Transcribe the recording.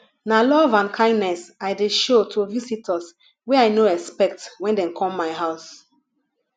na love and kindness i dey show to visitors wey i no expect wen dem come my house